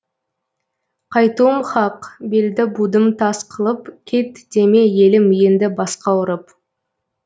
қайтуым хақ белді будым тас қылып кет деме елім енді басқа ұрып